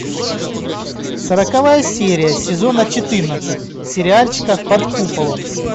сороковая серия сезона четырнадцать сериальчика под куполом